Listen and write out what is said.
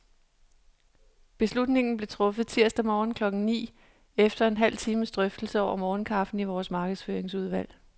Beslutningen blev truffet tirsdag morgen klokken ni, efter en halv times drøftelse over morgenkaffen i vores markedsføringsudvalg.